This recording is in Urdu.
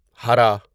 ہرا